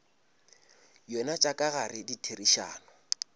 yona tša ka gare ditherišano